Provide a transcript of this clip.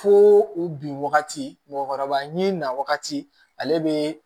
Fo u bin wagati mɔgɔkɔrɔba ni na wagati ale bɛ